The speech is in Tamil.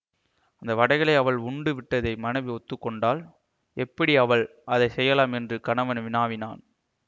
அந்த வடைகளை அவள் உண்டு விட்டதை மனைவி ஒத்துக்கொண்டாள் எப்படி அவள் அதை செய்யலாம் என்று கணவன் வினாவினான்